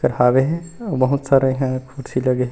एकर हावे हे बहुत सारे इहा कुर्सी लगे हे ।